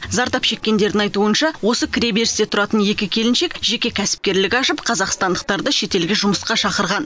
зардап шеккендердің айтуынша осы кіреберісте тұратын екі келіншек жеке кәсіпкерлік ашып қазақстандықтарды шетелге жұмысқа шақырған